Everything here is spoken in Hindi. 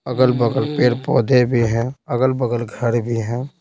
अगल-बगल पेड़-पौधे भी हैं अगल-बगल घर भी है।